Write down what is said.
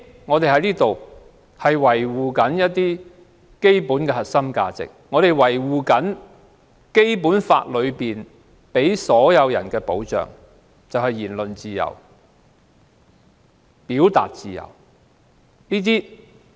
我們要維護基本的核心價值，並維護《基本法》給予所有人的保障，就是我們有言論自由和表達自由。